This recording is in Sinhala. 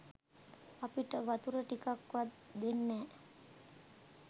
අපිට වතුර ටිකක් වත් දෙන්නෑ.